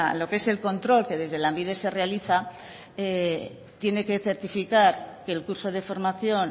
lo que es el control que desde lanbide se realiza tiene que certificar que el curso de formación